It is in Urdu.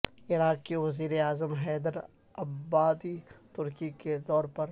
عراق کے وزیر اعظم حیدر العبادی ترکی کے دورے پر